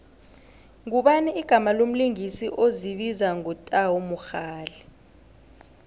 ngubani igama lomlingisi ozibiza ngo tau mogale